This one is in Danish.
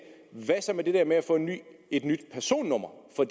hvad så med det der med at få et nyt personnummer for